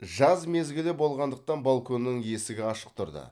жаз мезгілі болғандықтан балконның есігі ашық тұрды